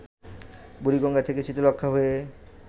বুড়িগঙ্গা থেকে শীতলক্ষ্যা হয়ে